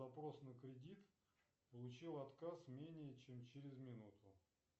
вопрос на кредит получил отказ менее чем через минуту